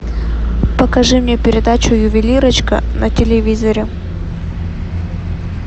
покажи мне передачу ювелирочка на телевизоре